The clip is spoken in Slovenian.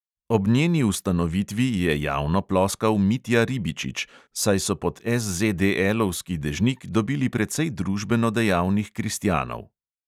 Ob njeni ustanovitvi je javno ploskal mitja ribičič, saj so pod SZDL-ovski dežnik dobili precej družbeno dejavnih kristjanov.